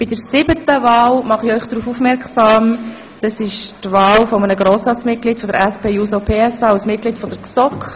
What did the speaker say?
Bei der siebten Wahl geht es um die Wahl eines Mitglieds der SP-JUSO-PSA-Fraktion als Mitglied der GSoK.